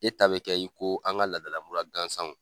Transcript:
E ta bi kɛ i ko, an ga laadalamura gansanw